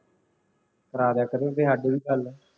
ਕਰਾ ਕਰੋ ਕਦੇ ਸਾਡੀ ਵੀ ਗੱਲ